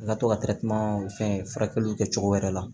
I ka to ka fɛn furakɛliw kɛ cogo wɛrɛ la